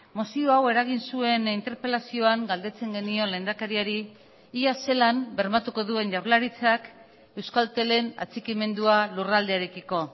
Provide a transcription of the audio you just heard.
mozio hau eragin zuen interpelazioan galdetzen genion lehendakariari ia ze lan bermatuko duen jaurlaritzak euskaltelen atxikimendua lurraldearekiko